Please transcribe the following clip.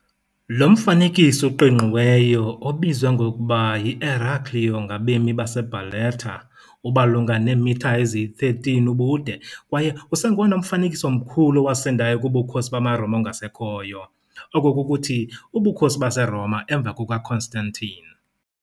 Lo mfanekiso uqingqiweyo, obizwa ngokuba yi "Eraclio" ngabemi base Barletta, umalunga ubude, kwaye usengowona mfanekiso mkhulu owasindayo kuBukhosi bamaRoma ongasekhoyo, oko kukuthi uBukhosi baseRoma emva kukaConstantine.